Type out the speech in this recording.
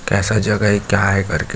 कैसा जगह है क्या हैं करके--